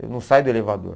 eu não saio do elevador.